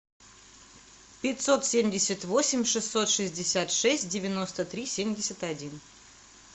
пятьсот семьдесят восемь шестьсот шестьдесят шесть девяносто три семьдесят один